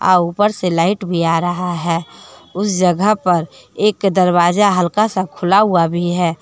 आ ऊपर से लाइट भी आ रहा है उस जगह पर एक दरवाजा हल्का सा खुला हुआ भी है।